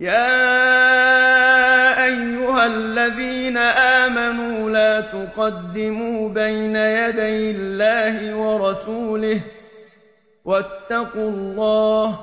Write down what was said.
يَا أَيُّهَا الَّذِينَ آمَنُوا لَا تُقَدِّمُوا بَيْنَ يَدَيِ اللَّهِ وَرَسُولِهِ ۖ وَاتَّقُوا اللَّهَ ۚ